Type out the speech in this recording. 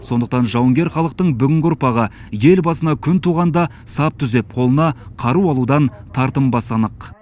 сондықтан жауынгер халықтың бүгінгі ұрпағы ел басына күн туғанда сап түзеп қолына қару алудан тартынбасы анық